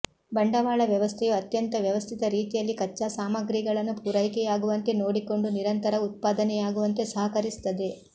ಬಂಡವಾಳ ವ್ಯವಸ್ಥೆಯು ಅತ್ಯಂತ ವ್ಯವಸ್ಥಿತ ರೀತಿಯಲ್ಲಿ ಕಚ್ಚಾ ಸಾಮಗ್ರಿಗಳನ್ನು ಪೂರೈಕೆಯಾಗುವಂತೆ ನೋಡಿಕೊಂಡು ನಿರಂತರ ಉತ್ಪಾದನೆಯಾಗುವಂತೆ ಸಹಕರಿಸುತ್ತದೆ